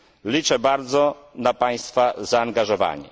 Liczę bardzo na Państwa zaangażowanie.